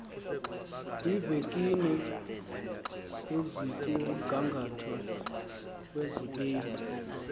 kwiivenkile ezikumgangatho wezibini